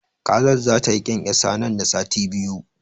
Kazar zata yi ƙyanƙyasa nan da sati biyu.